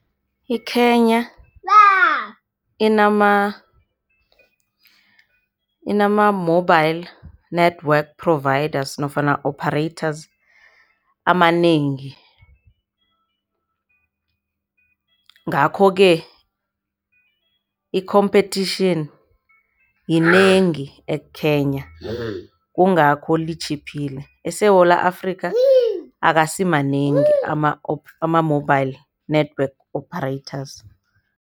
IKenya inama-mobile network providers nofana operators amanengi ngakho-ke i-competition yinengi eKenya kungakho litjhiphile. ESewula Afrika akasimanengi ama-mobile network operators.